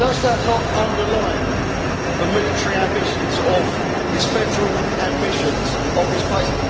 Does that not underline the military ambitions, the federal ambitions of this place?